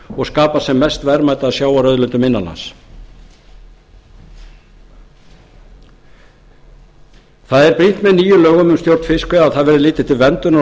og skapa sem mest verðmæti af sjávarauðlindunum innan lands brýnt er að með nýjum lögum um stjórn fiskveiða verði litið til verndunar og